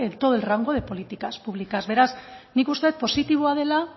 todo el rango de políticas públicas beraz nik uste positiboa dela